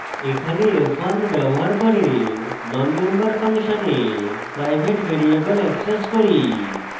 এখানে f1 ব্যবহার করে nonmember ফাংশনে প্রাইভেট ভ্যারিয়েবল অ্যাক্সেস করি